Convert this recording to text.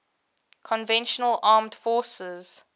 conventional armed forces